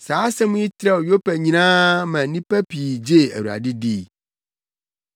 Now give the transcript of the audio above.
Saa asɛm yi trɛw wɔ Yopa nyinaa ma nnipa pii gyee Awurade dii.